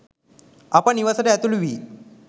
අප නිවසට ඇතුළු වී